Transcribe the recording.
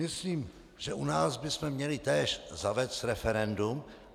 Myslím, že u nás bychom měli též zavést referendum.